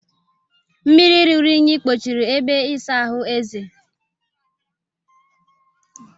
Mmiri ruru unyi kpochiri ebe ịsa ahụ Eze